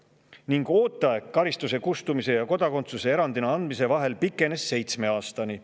– ning ooteaeg kustumise ja kodakondsuse erandina andmise vahel pikenes seitsme aastani.